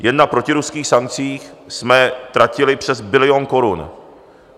Jen na protiruských sankcích jsme tratili přes bilion korun.